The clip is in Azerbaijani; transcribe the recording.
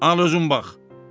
Al özün bax.